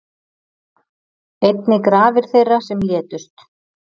Einnig grafir þeirra sem létust